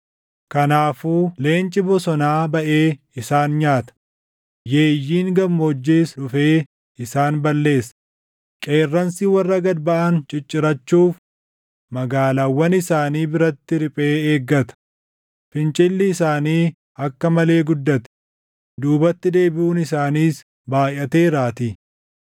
Kanaafuu leenci bosonaa baʼee isaan nyaata; yeeyyiin gammoojjiis dhufee isaan balleessa; qeerransi warra gad baʼan ciccirachuuf magaalaawwan isaanii biratti riphee eeggata; fincilli isaanii akka malee guddate; duubatti deebiʼuun isaaniis baayʼateeraatii.